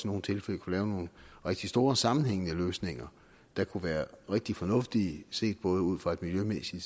nogle tilfælde kunne lave nogle rigtig store sammenhængende løsninger der kunne være rigtig fornuftige set både ud fra en miljømæssig